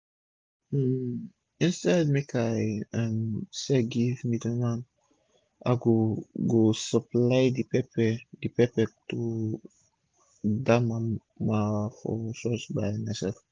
um instead make i dey um sell give middleman i go go supply d pepper d pepper to dia mama for church by mysef